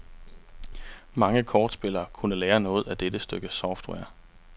Mange kortspillere kunne lære noget af dette stykke software.